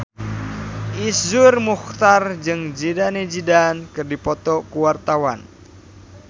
Iszur Muchtar jeung Zidane Zidane keur dipoto ku wartawan